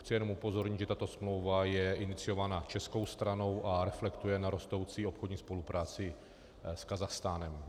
Chci jen upozornit, že tato smlouva je iniciována českou stranou a reflektuje na rostoucí obchodní spolupráci s Kazachstánem.